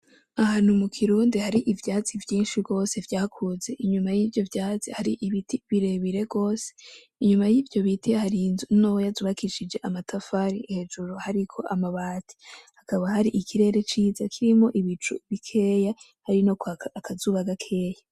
Ahantu mukirundi hari ivyatsi vyinshi gose vyakuze ,inyuma yivyo vyatsi hari ibiti birebire gose ,inyuma yivyo biti harinzu ntoya zubakishije amatafali hejuru hariko amabati, hakaba hari ikirere ciza kirimwo ibicu bikeya, hari nokwaka akazuba gakeya.